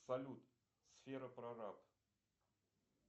салют сфера прораб